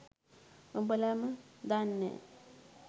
උඹලම දන්නෑ